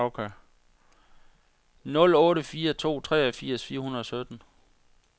nul otte fire to treogfirs fire hundrede og sytten